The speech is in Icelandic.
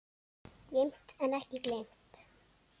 Geymt en ekki gleymt